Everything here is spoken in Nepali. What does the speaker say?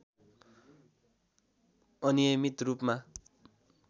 अनियमित रूपमा